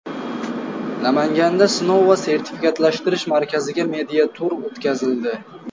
Namanganda Sinov va sertifikatlashtirish markaziga media-tur o‘tkazildi.